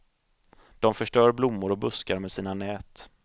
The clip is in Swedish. De förstör blommor och buskar med sina nät.